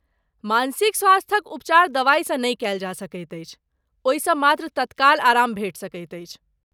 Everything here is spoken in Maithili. मानसिक स्वास्थ्यक उपचार दवाइसँ नहि कयल जा सकैत अछि, ओहिसँ मात्र तत्काल आराम भेटि सकैत अछि।